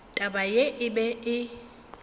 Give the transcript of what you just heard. taba ye e be e